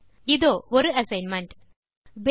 இதோ ஒரு அசைன்மென்ட்